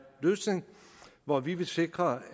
løsning hvor vi vil sikre